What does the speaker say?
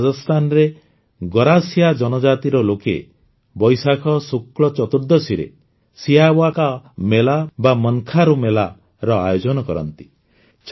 ସେହିଭଳି ରାଜସ୍ଥାନରେ ଗରାସିୟା ଜନଜାତିର ଲୋକେ ବୈଶାଖ ଶୁକ୍ଳ ଚତୁର୍ଦ୍ଦଶୀରେ ସିୟାୱା କା ମେଲା ବା ମନଖାଁ ରୋ ମେଲାର ଆୟୋଜନ କରନ୍ତି